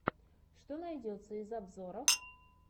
что найдется из обзоров